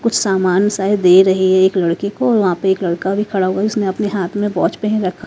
कुछ सामान सायद दे रही है एक लड़के को और वहां पर एक लड़का भी खड़ा हुआ है उसने अपने हाथ में वाच पहन रखा।